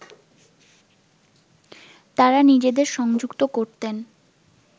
তাঁরা নিজেদের সংযুক্ত করতেন